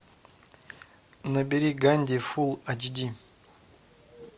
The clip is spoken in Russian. набери ганди фул ач ди